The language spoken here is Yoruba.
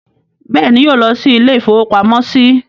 Bẹ́ẹ̀ ni, yóò lọ́ ilé-ìfowópamọ́sí.